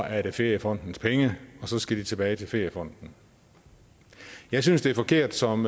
er det feriefondens penge og så skal de tilbage til feriefonden jeg synes det er forkert som